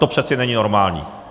To přece není normální.